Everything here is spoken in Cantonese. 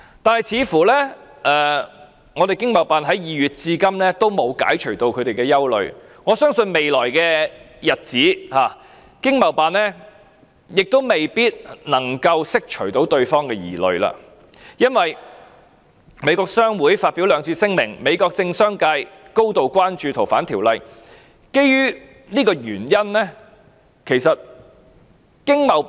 但是，似乎華盛頓經貿辦在2月至今仍沒有解除他們的憂慮，我相信未來的日子，華盛頓經貿辦亦未必能夠釋除對方的疑慮，因為美國商會已發表兩次聲明，美國政商界也高度關注該條例的修訂。